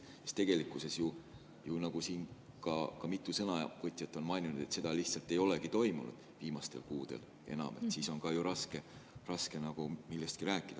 Nagu siin mitu sõnavõtjat on maininud, seda lihtsalt ei ole viimastel kuudel toimunud ja siis on ka raske nagu millestki rääkida.